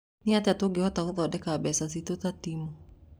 "Nĩ atĩa tũngĩhota gűthondeka mbeca citũ ta timu?